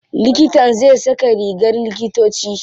Likitan zai saka rigar likitoci.